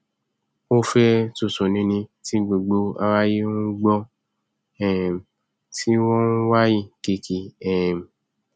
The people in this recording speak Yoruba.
ó fẹ tútù nini tí gbogbo aráyé ń gbọn um tí wọn ń wayín keke um